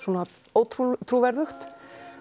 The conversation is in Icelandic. ótrúverðugt